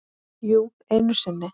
Jú, einu sinni.